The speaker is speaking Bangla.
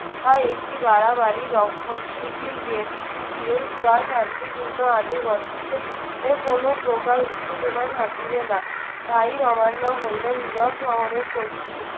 আহ একটি বাড়াবাড়ি রক্ষণশীল বা শান্তিপূর্ণ আইনি পদ্ধতিতে এ কোনো প্রকার উত্তেজনা থাকিবে না। তাই হইলো নীরব সহনের প্রস্তুতি।